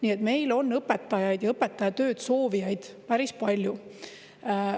Nii et meil on õpetajaid ja õpetajatööd soovijaid päris palju.